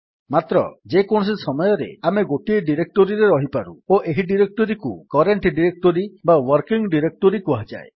ମାତ୍ର ଯେକୌଣସି ସମୟରେ ଆମେ ଗୋଟିଏ ଡିରେକ୍ଟୋରୀରେ ରହିପାରୁ ଓ ଏହି ଡିରେକ୍ଟୋରୀକୁ କରେଣ୍ଟ୍ ଡିରେକ୍ଟୋରୀ ବା ୱର୍କିଂ ଡିରେକ୍ଟୋରୀ କୁହାଯାଏ